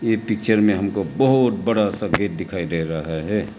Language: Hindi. ये पिक्चर में हमको बहुत बड़ा सा गेट डिखाई डे रहा है।